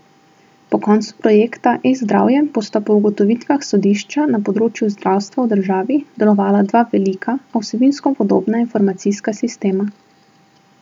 Po koncu projekta eZdravje bosta po ugotovitvah sodišča na področju zdravstva v državi delovala dva velika, a vsebinsko podobna informacijska sistema.